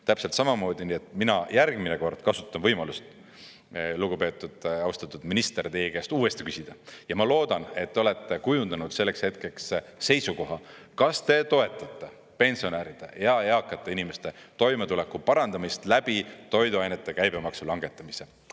Täpselt samamoodi mina järgmine kord kasutan võimalust, lugupeetud, austatud minister, teie käest uuesti küsida, ja ma loodan, et te olete kujundanud selleks hetkeks seisukoha, kas te toetate pensionäride ja eakate inimeste toimetuleku parandamist läbi toiduainete käibemaksu langetamise.